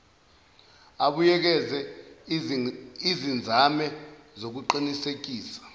abuyekeze izinzame zokuqinisekisa